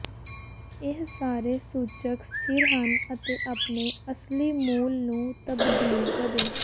ਇਹ ਸਾਰੇ ਸੂਚਕ ਸਥਿਰ ਹਨ ਅਤੇ ਆਪਣੇ ਅਸਲੀ ਮੁੱਲ ਨੂੰ ਤਬਦੀਲ ਕਦੇ